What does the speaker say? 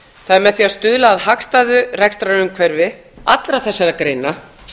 það er með því að stuðla að hagstæðu rekstrarumhverfi allra þessara greina